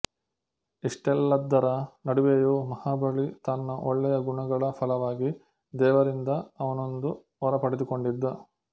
ಇಷ್ಟೆಲ್ಲದರ ನಡುವೆಯೂ ಮಹಾಬಲಿ ತನ್ನ ಒಳ್ಳೆಯ ಗುಣಗಳ ಫಲವಾಗಿ ದೇವರಿಂದ ಅವನೊಂದು ವರ ಪಡೆದುಕೊಂಡಿದ್ದ